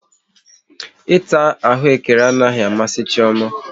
Ịta ahụekere anaghị amasị Chioma